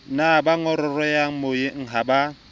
ne bangongoreha meyeng ha ba